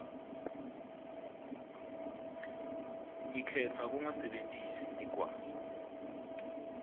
ngikhetsa kungasebentisi ligwayi